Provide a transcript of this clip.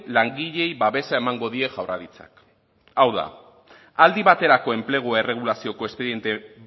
langileei babesa emango die jaurlaritzak hau da aldi baterako enplegu erregulazioko espediente